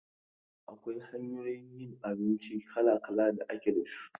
Akwai hanyoyin yin abinci kala-kala da ake da su.